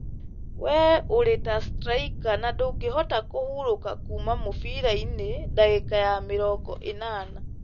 Wee ũrĩ ta straika na ndũngĩhota "kũhurũka" kuuma mũbira-inĩ ndagĩka ya mĩrongo ĩnana,